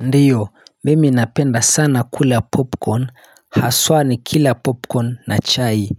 Ndiyo, mimi napenda sana kula popcorn, haswa nikila popcorn na chai